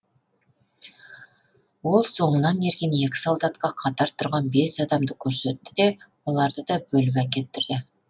ол соңынан ерген екі солдатқа қатар тұрған бес адамды көрсетті де оларды да бөліп әкеттірді